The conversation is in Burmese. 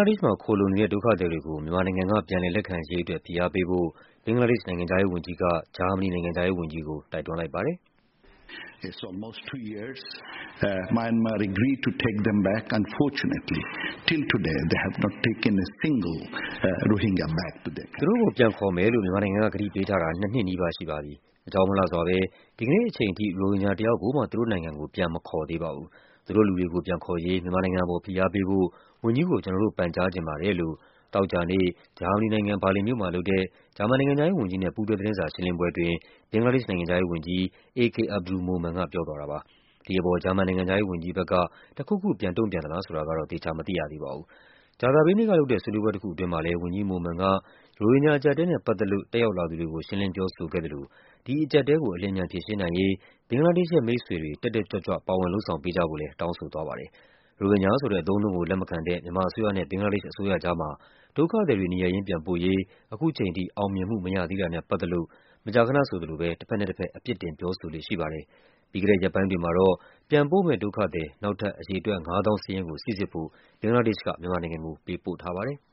ားဒေ့ရှ်မှာ ခိုလှုံနေတဲ့ ဒုက္ခသည်တွေကို မြန်မာနိုင်ငံက ပြန်လည် လက်ခံရေးအတွက် ဖိအားပေးဖို့ ဘင်္ဂလားဒေ့ရှ်နိုင်ငံခြား ရေးဝန်ကြီးက ဂျာမနီနိုင်ငံခြားရေးဝန်ကြီးကို တိုက်တွန်းလိုက်ပါတယ်။ “သူတို့ကိုပြန်ခေါ်မယ်လို့ မြန်မာနိုင်ငံက ကတိပေးထားတာ နှစ်နှစ်နီးပါးရှိပါပြီ။ အကြောင်းမလှစွာဘဲ ဒီကနေ့အချိန်ထိ ရိုဟင်ဂျာတယောက်ကိုမှ သူတို့နိုင်ငံကို ပြန်မခေါ်သေးပါဘူး။ သူတို့လူတွေကို ပြန်ခေါ်ရေး မြန်မာနိုင်ငံအပေါ် ဖိအားပေးဖို့ ဝန်ကြီးကို ကျနော်တို့ ပန်ကြားချင်ပါတယ်။” သောကြာနေ့ ဂျာမနီနိုင်ငံ၊ ဘာလင်မြို့မှာလုပ်တဲ့ ဂျာမန်နိုင်ငံခြားရေးဝန်ကြီးနဲ့ ပူးတွဲ သတင်းစာရှင်းလင်းပွဲအတွင်း ဘင်္ဂလားဒေ့ရှ်နိုင်ငံခြားရေးဝန်ကြီး A K Abdul Momen က ပြောသွားပါတယ်။ ဒီအပေါ် ဂျာမန်နိုင်ငံခြားရေးဝန်ကြီးဘက်က တခုခုပြန်ပြောသလားဆိုတာတော့ သေချာမသိရသေးပါဘူး။ ကြာသပတေးနေ့ကလုပ်တဲ့ ဆွေးနွေးပွဲတခုအတွင်းမှာလည်း ဝန်ကြီး Momen က ရိုဟင်ဂျာအကျပ်အတည်းနဲ့ ပတ်သက်လို့ တက်ရောက်လာသူတွေကို ရှင်းလင်းပြောဆိုခဲ့သလို ဒီအကျပ်အတည်းကို အလျင်အမြန် ဖြေရှင်းနိုင်ရေး ဘင်္ဂလားဒေ့ရှ်ရဲ့ မိတ်ဆွေတွေ တက်တက်ကြွကြွ ပါဝင်လုပ်ဆောင်ပေးကြဖို့လည်း တောင်းဆိုသွားပါတယ်။ ရိုဟင်ဂျာဆိုတဲ့ အသုံးအနှုန်းကို လက်မခံတဲ့ မြန်မာအစိုးရနဲ့ ဘင်္ဂလားဒေ့ရှ်အစိုးရကြားမှာ ဒုက္ခသည်တွေ နေရပ်ရင်းပြန်ပို့ရေး ခုချိန်ထိ အောင်မြင်မှုမရသေးတာနဲ့ပတ်သက်လို့ မကြာခဏဆိုသလို တဘက်နဲ့တဘက် အပြစ်တင် ပြောဆိုလေ့ရှိပါတယ်။ ပြီးခဲ့တဲ့ရက်ပိုင်းတွေမှာတော့ ပြန်ပို့မယ့်ဒုက္ခသည် နောက်ထပ် အရေအတွက် ၅၀,၀၀၀ စာရင်းကို စိစစ်ဖို့ ဘင်္ဂလားဒေ့ရှ်က မြန်မာ နိုင်ငံကို ပေးပို့ထားပါတယ်။